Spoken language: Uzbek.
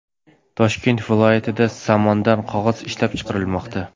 Toshkent viloyatida somondan qog‘oz ishlab chiqarilmoqda.